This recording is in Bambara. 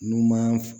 N'u man